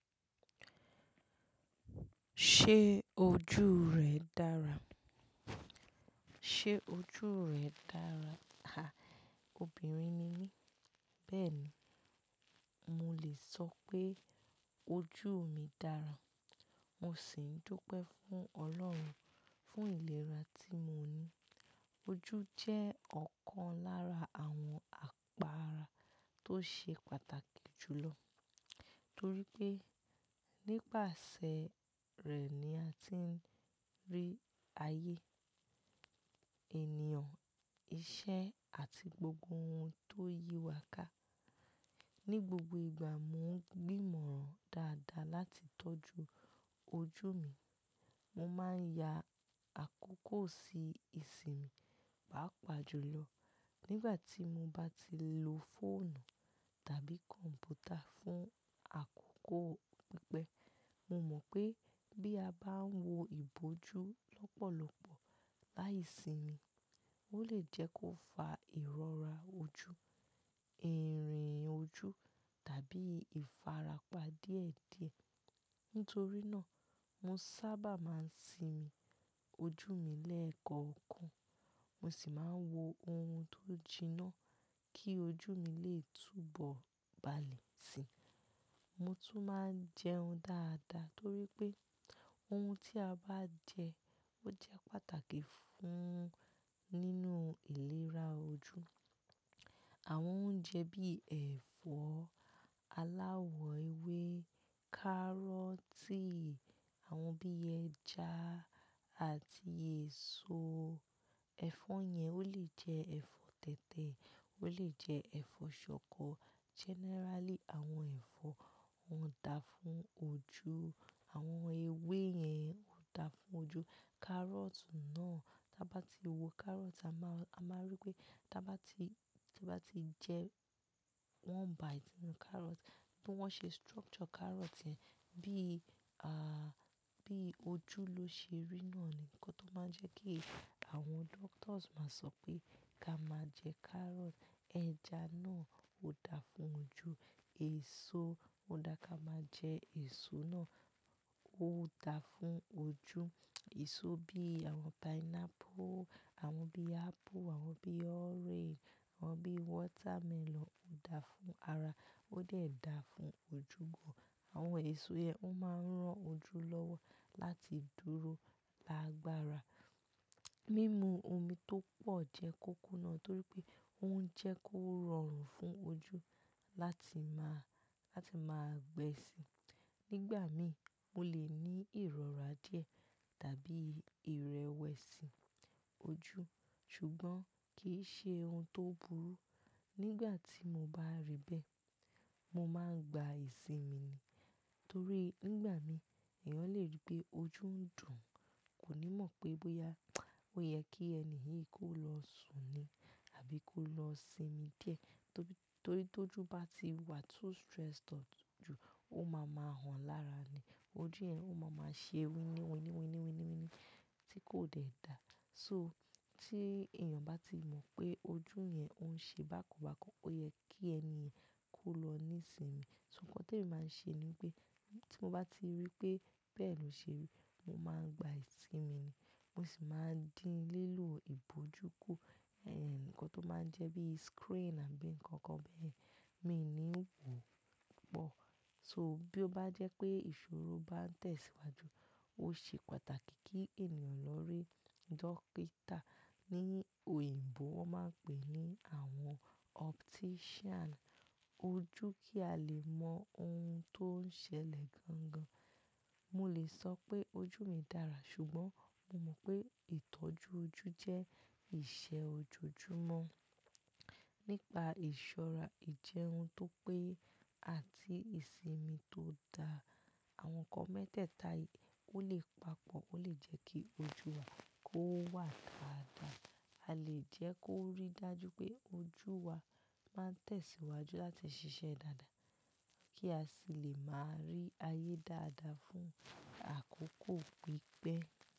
Ṣé ojú rẹ̀ dára? Ṣé ojú rẹ̀ dára? Ha! Obìnrin ni mí, bẹ́ẹ̀ ni, mo lè sọ pé ojú mi dára. Mo sì ń dupẹ́ fún Ọlọ́run fún ìlera tí mo ní. Ojú jẹ́ ọ̀kan lára àwọn àgo ara tó ṣe pàtàkì jù lọ, torí pé nípasẹ̀ rẹ̀ ni a ti ń rí ayé, ènìyàn, iṣẹ́ àti gbogbo ohun tó yí wa ká. Ni gbogbo ìgbà mo ń gbìmọ̀ran dáadáa láti tọ́jú ojú mi. Mo máa ń ya àkókò sí ìsinmi, pàápàá jùlọ nígbà tí mo bá ti lo fóònù tàbí kọ̀m̀pútà fún àkókò pípẹ́. Mo mọ̀ pé bí a bá ń wo ìbòjú lọ́pọ̀lọpọ̀ láì sinmi, ó lè jẹ́ kó fa ìrọ́ra ojú, ìrìn ojú tàbí ìfarapa díẹ̀díẹ̀. Nítorí náà, mo sábà máa ń sinmi ojú mi lẹ́ẹ̀kọ̀ọ̀kan. Mo sì máa ń wo ohun tó jiná kí ojú mi lè túbọ̀ ba'lẹ̀ sí i. Mo tún máa ń jẹun dáadáa torí pé ohun tí a bá jẹ, ó jẹ́ pàtàkì fún nínú ìlera ojú. Àwọn oúnjẹ bí ẹ̀fọ́, aláwọ̀ ewé, kárọ́tì, àwọn bí ẹja àti èso. Ẹ̀fọ́ yẹn ó lè jẹ́ ẹ̀fọ́ tètè, ó lè jẹ́ ẹ̀fọ́ ṣọkọ. Generally, àwọn ẹ̀fọ́ òún da fún ojú. Àwọn ewé yẹn òún da fún ojú. Kárọ́tì náà, tí a bá ti wo kárọ́tì, a máa rí pé tí a bá ti jẹ one bite ninú kárọ́tì, bí wọ́n ṣe structure kárọ́tì yẹn, bí, ah, bí ojú ló ṣe rí náà ni nǹkan tó máa ń jẹ́ kí àwọn doctors máa sọ pé ká má jẹ kárọ́tì. Ẹja náà ó da fún ojú. Èso ó dá ká máa jẹ èso náà, ó da fún ojú. Èso bí àwọn pineapple, àwọn bí apple, àwọn bí orange, àwọn bí watermelon ó da fún ara, ó de dàá fún ojú gan. Àwọn èso yẹn ó máa ń rán ojú lọ́wọ́ láti dúró gbangba ara. Mímu omi tó pọ̀ jẹ́ kóko náà torí pé ó ń jẹ́ kó rọrùn fún ojú láti máa, láti máa gbẹ́ sí i. Nígbà mí, mo lè ní ìrọ́ra díẹ̀ tàbí ìrẹwẹ̀sì ojú, ṣùgbọ́n kì í ṣe ohun tó burú. Nígbà tí mo bá rí bẹ́ẹ̀, mo máa ń gba ìsinmi, torí nígbà mí èèyàn lè rí pé ojú ń dùn, kò ní mọ̀ pé bóyá ó yẹ kí ènìyàn yìí kó lọ sùn ni àbí kó lọ sinmi díẹ̀. Torí tó jú bá ti wà too stressed out jù, ó máa ń máa hàn lára ni. Ojú yẹn ó máa ń ṣe wíníwíníwíníwíníwíní tí kò dẹ̀ dáa. So tí èèyàn bá ti mọ̀ pé ojú yẹn òun ṣe bákan bákan, ó yẹ kí ènìyen kó lọ nísinmi. So nǹkan tí mo máa ń ṣe ni pé tí mo bá ti rí pé bẹ́ẹ̀ ni ó ṣe rí, mo máa ń gba ìsinmi mi. Mo sì máa ń dín lílọ ìbòjú kù. Ẹn, nǹkan tó máa ń jẹ́ bí screen àbí nǹkan kan bẹ́ẹ̀, mi ò ní wò pọ̀. So bí ó bá jẹ́ pé ìṣòro bá ń tẹ̀síwájú, ó ṣe pàtàkì kí èèyàn lọ rí dókítà ní òyìnbó wọ́n máa ń pè ní àwọn optician ojú kí a lè mọ ohun tó ń ṣẹlẹ̀ gangan. Mo lè sọ pé ojú mi dára ṣùgbọ́n mo mọ̀ pé ìtọ́jú ojú jẹ́ ìṣe ojoojúmọ́. Nípa ìṣọ́ra ìjẹun tó pé àti ìsinmi tó da, àwọn nǹkan mẹ́tẹ̀ẹ̀ta yìí ó lè papọ̀ ó lè jẹ́ kí ojú wa kó wà dáadáa. A lè jẹ́ kó rí dájú pé ojú wa máa ń tẹ̀síwájú láti ṣiṣẹ́ dáadáa kí a sì lè máa rí ayé dáadáa fún àkókò pípẹ́.